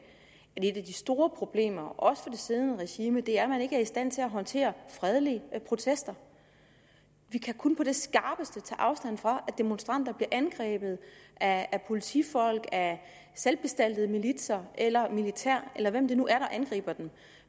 de store problemer også for det siddende regime er at man ikke er i stand til at håndtere fredelige protester vi kan kun på det skarpeste tage afstand fra at demonstranter bliver angrebet af politifolk af selvbestaltede militser eller militær eller hvem det nu er der angriber dem